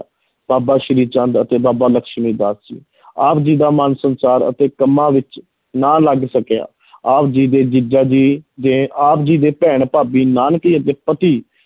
ਬਾਬਾ ਸ੍ਰੀ ਚੰਦ ਅਤੇ ਬਾਬਾ ਲਖਮੀ ਚੰਦ ਦਾਸ ਜੀ ਆਪ ਜੀ ਦਾ ਮਨ ਸੰਚਾਰ ਅਤੇ ਕੰਮਾਂ ਵਿੱਚ ਨਾ ਲੱਗ ਸਕਿਆ ਆਪ ਜੀ ਦੇ ਜੀਜਾ ਜੀ ਨੇ ਆਪ ਜੀ ਦੇ ਭੈਣ ਭਾਬੀ ਨਾਨਕੀ ਦੇ ਪਤੀ